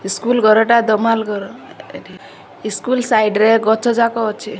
School ଘରଟା ଦୋମାହାଲ୍ ଘର ଆରେ ସ୍କୁଲ୍ ସାଇଟ ରେ ଗଛ ଯାକ ଅଛି।